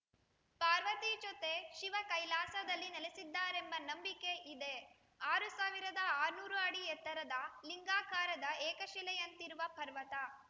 ಪಾರ್ವತಿ ಜೊತೆ ಶಿವ ಕೈಲಾಸದಲ್ಲಿ ನೆಲೆಸಿದ್ದಾರೆಂಬ ನಂಬಿಕೆ ಇದೆ ಆರು ಸಾವಿರದ ಆರುನೂರು ಅಡಿ ಎತ್ತರದ ಲಿಂಗಾಕಾರದ ಏಕಶಿಲೆಯಂತಿರುವ ಪರ್ವತ